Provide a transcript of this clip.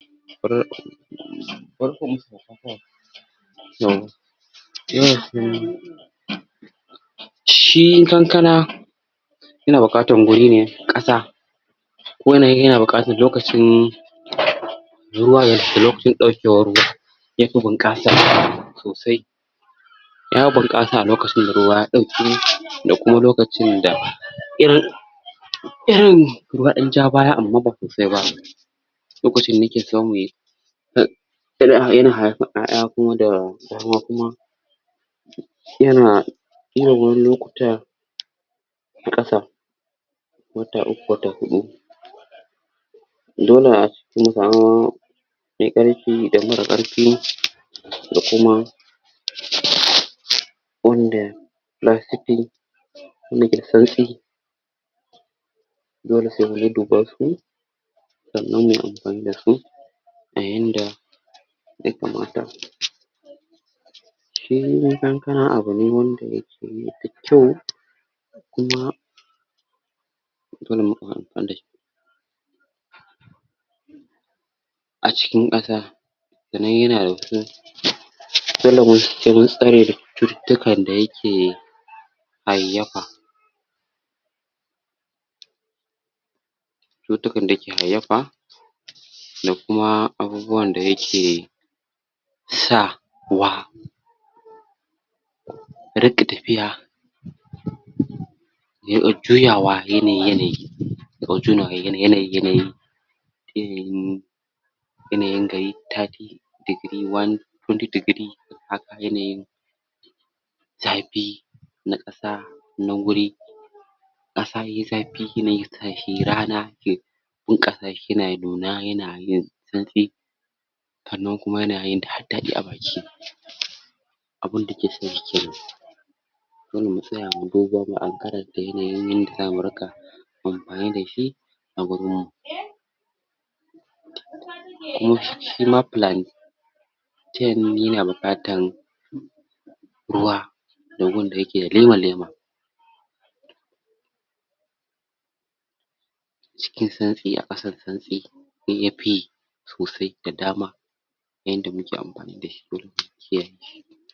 shi kankana yana bukatan gurine ƙasa wanan iya buƙatan lokacin ruwa ya tafi lokacin daukewar ruwa yafi bunƙasa sosai ya buƙasa a lokacin da ruwa ya dauke da kuma lokacin da irin irin ruwa ya dan jabaya amma ba sosai ba lokacin ne yake samu yayi yana irin wani lokuta na asa wata uku wata huɗu dole mu samu me ƙarfi da mara ƙarfi da kuma wanda dole se mun duduba su da zamuyi anfanin dansu ayanda ya kamata shi kankana abune wanda yakeyi da kyau kuma acikin ƙasa sanan yanada wasu cutuka da yake hayafa cutukan da yake hayafa da kuma abubuwan da yake sa wa riƙa tafiya ya u juyawa yanayi yanayi ya u junawa yanayiyanayi ilimin yanayi da yai dadaɗi degree one twenty degree haka yanayin zafi na Ƙasa nan guri asa yaiyi zafi yanayi tashi rana zaƘi na nuna yanayin tsatsi sanan kuma yanayin da ha daɗi abun dakae dole mutsaya muyi ban ruwa mu ankara d yanda ke mu anfani dashi a gona taya nuni na buɗatan ruwa to gun dayake lema kema kisan tsiyan ɗasan tsatsi yayyafi sosai da dama yanda muke anfani da shi kullun mu kiyaye